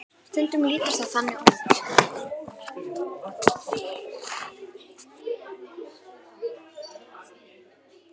Stundum lítur það þannig út.